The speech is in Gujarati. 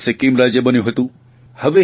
પહેલાં સિક્કિમ રાજય બન્યું હતું